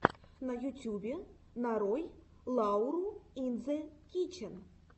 на ютюбе нарой лауру ин зе кичен